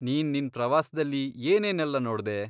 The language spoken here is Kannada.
ನೀನ್ ನಿನ್ ಪ್ರವಾಸ್ದಲ್ಲಿ ಏನೇನೆಲ್ಲ ನೋಡ್ದೆ?